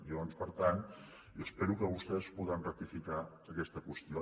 llavors per tant jo espero que vostès podran rectificar aquesta qüestió